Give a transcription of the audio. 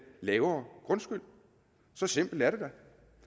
lavere grundskyld så simpelt er det da